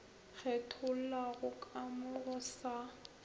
kgethollago ka mo go sa